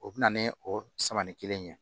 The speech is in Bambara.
O bɛ na ni o samani kelen in ye